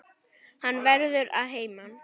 Hann verður að heiman.